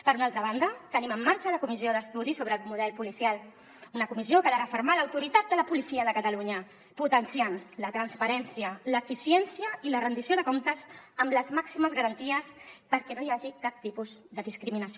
per una altra banda tenim en marxa la comissió d’estudi sobre el model policial una comissió que ha de refermar l’autoritat de la policia de catalunya potenciant la transparència l’eficiència i la rendició de comptes amb les màximes garanties perquè no hi hagi cap tipus de discriminació